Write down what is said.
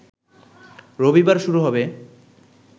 রবিবার শুরু হবে